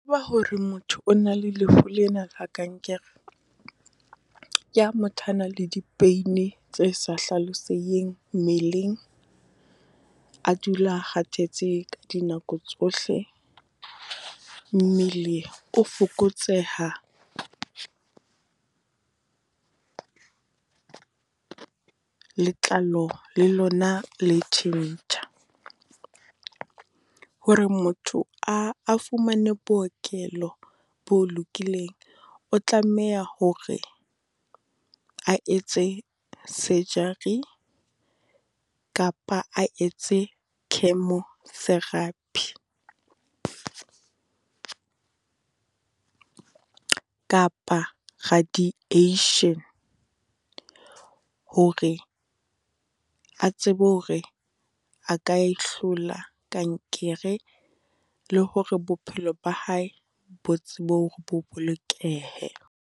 Hore motho o na le lefu lena la kankere, ke ha motho ana le di-pain-i tse sa hlaloseditseng mmeleng. A dula a kgathetse ka dinako tsohle, mmele o fokotseha, letlalo le lona le tjhentjha. Hore motho a a fumane bookelo bo lokileng, o tlameha hore a etse surgery, kapa a etse chemotherapy. Kapa radiation, hore a tsebe hore a ka e hlola kankere, le hore bophelo ba hae bo tsebe hore bo bolokehe.